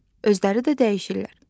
Özləri də dəyişirlər.